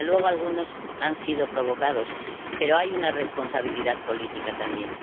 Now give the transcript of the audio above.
Desde luego, algunos han sido provocados, pero hay una responsabilidad política también.